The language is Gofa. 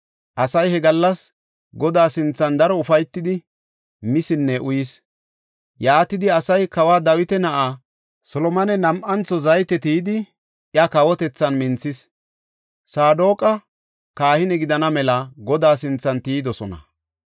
Asay he gallas Godaa sinthan daro ufaytidi misinne uyis. Yaatidi asay kawa Dawita na7aa Solomone nam7antho zayte tiyidi iya kawotethan minthis. Saadoqa kahine gidana mela Godaa sinthan tiyidosona.